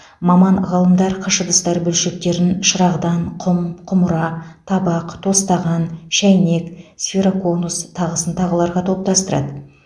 маман ғалымдар қыш ыдыстар бөлшектерін шырағдан құм құмыра табақ тостаған шәйнек сфероконус тағысын тағыларға топтастырады